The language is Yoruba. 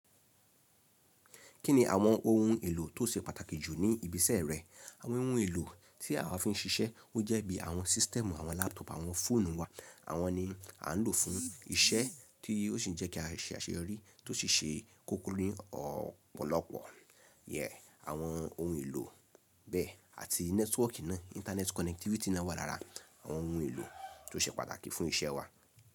Kí ni àwọn ohun èlò tó ṣe pàtàkì jù ní ibi iṣẹ́ rẹ? Àwọn ohun èlò tí awa fi ń ṣiṣẹ́ o jẹ́ bí àwọn system, àwọn laptop, àwọn fóònù wa. Àwọn ní a ń lò fún iṣẹ́ tí ó sì ń jẹ́ kí a ṣe àṣeyọrí tó ṣi ṣe kókó ní ọ̀pọ̀lọpọ̀. Yeah, àwọn ohun èlò bẹ́ẹ̀ àti nẹ́tíwọ̀kì náà, internet connectivity náà wà lára àwọn ohun èlò tó ṣe pàtàkì fún iṣẹ́ wa.